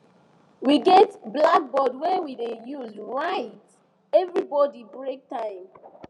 we get blackboard wey we dey use write everybody break time